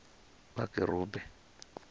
vhakerube